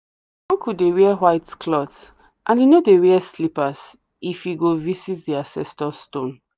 uncle dey wear white cloth and he no dey wear slippers if he go visit the ancestor stone.